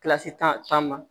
Kilasi tan ma